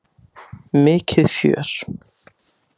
Mikið fjör!